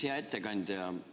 Hea ettekandja!